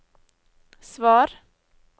svar